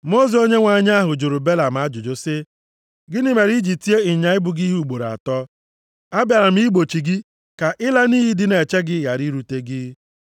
Mmụọ ozi Onyenwe anyị ahụ jụrụ Belam ajụjụ sị, “Gịnị mere i ji tie ịnyịnya ibu gị ihe ugboro atọ? Abịara m igbochi gị ka ịla nʼiyi dị na-eche gị ghara irute gị.